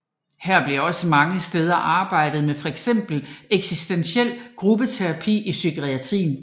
Her blev også mange steder arbejdet med fx eksistentiel gruppeterapi i psykiatrien